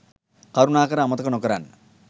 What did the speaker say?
කරුනාකර අමතක නොකරන්න.